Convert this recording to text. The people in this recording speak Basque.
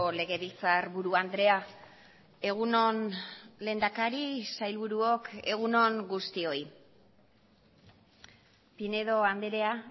legebiltzarburu andrea egun on lehendakari sailburuok egun on guztioi pinedo andrea